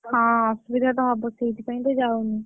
ହଁ ଅସୁବିଧା ତ ହବ, ସେଇଥିପାଇଁତ ଯାଉନି।